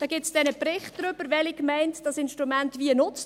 Es gibt einen Bericht darüber, welche Gemeinde das Instrument wie nutzt.